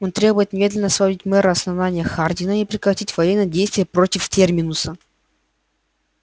он требует немедленно освободить мэра основания хардина и прекратить военные действия против терминуса